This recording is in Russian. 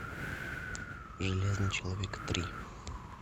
железный человек три